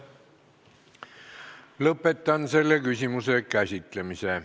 Lõpetan selle küsimuse käsitlemise.